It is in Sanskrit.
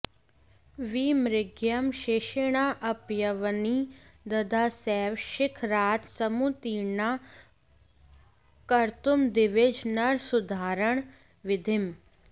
विमृग्यं शेषेणाऽप्यवनिदधता सैव शिखरात् समुत्तीर्णा कर्तुं दिविज नरसूद्धारणविधिम्